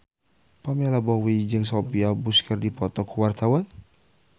Pamela Bowie jeung Sophia Bush keur dipoto ku wartawan